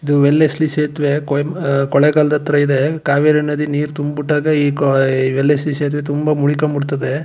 ಇದು Wellesley ಸೇತುವೆ ಕೊಳ್ಳೇಗಾಲ ದತ್ರ ಇದೆ ಕಾವೇರಿ ನದಿ ನೀರ್ ತುಂಬಿಟ್ಟದ್ ಈ ಕೋಯ್ ವೇಲ್ಸ್ ಸಿ ತುಂಬಾ ಮುಳಕೊಂಡ್ ಬಿಡತ್ತದೆ.